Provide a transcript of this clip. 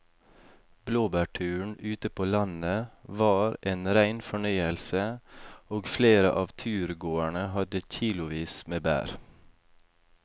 Blåbærturen ute på landet var en rein fornøyelse og flere av turgåerene hadde kilosvis med bær.